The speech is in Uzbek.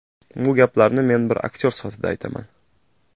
Bu gaplarni men bir aktyor sifatida aytaman.